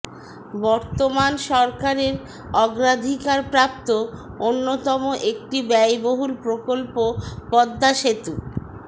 বর্তমান সরকারের অগ্রাধিকারপ্রাপ্ত অন্যতম একটি ব্যয়বহুল প্রকল্প পদ্মা সেতু